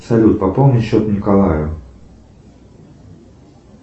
салют пополни счет николаю